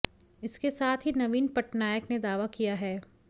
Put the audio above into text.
इसके साध ही नवीन पटनायक ने दावा किया है